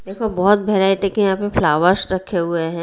देखो बहुत वराइटी के यहाँ पे फ्लावर्स रखे हुए है।